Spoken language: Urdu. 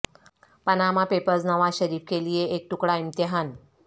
پاناما پیپرز نواز شریف کے لیے ایک کڑا امتحان